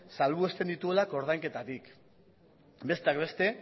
salbuesten dituela ordainketatik besteak beste